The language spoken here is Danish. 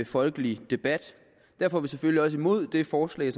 folkelig debat derfor er vi selvfølgelig også imod det forslag